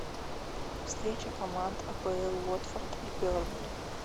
встреча команд апл уотфорд и бернли